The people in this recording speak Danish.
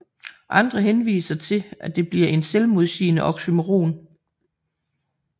Andre henviser til at det bliver en selvmodsigende oxymoron